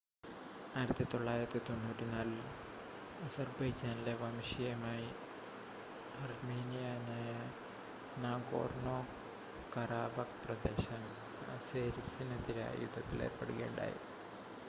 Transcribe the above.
1994-ൽ അസർബൈജാനിലെ വംശീയമായി അർമേനിയനായ നാഗോർനോ-കറാബക്ക് പ്രദേശം അസേരിസിനെതിരായി യുദ്ധത്തിൽ ഏർപ്പെടുകയുണ്ടായി